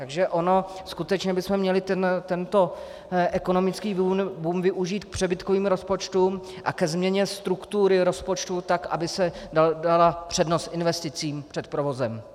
Takže ono skutečně bychom měli tento ekonomický boom využít k přebytkovým rozpočtům a ke změně struktury rozpočtů tak, aby se dala přednost investicím před provozem.